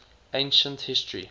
ancient history